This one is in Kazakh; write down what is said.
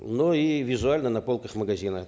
но и визуально на полках магазина